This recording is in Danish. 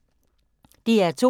DR2